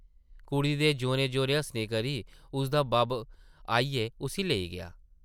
कुड़ी दे जोरें-जोरें हस्सने करी उसदा बब्ब आइयै उस्सी लेई गेआ ।